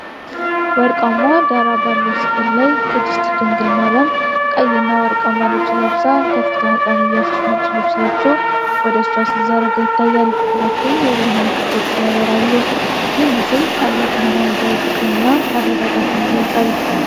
ወርቃማ ዳራ ባለው ሥዕል ላይ ቅድስት ዲንግል ማርያም ቀይና ወርቃማ ልብስ ለብሳ፣ ከፊቷ ሕፃን ኢየሱስ ነጭ ልብስ ለብሶ ወደሷ ሲዘረጋ ይታያል። ሁለቱንም የብርሃን ክበቦች ያበራሉ። ይህ ሥዕል ታላቅ ሃይማኖታዊ ፍቅርን እና መረጋጋትን ይገልጻል።